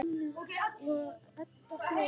Sjóni og Edda hló.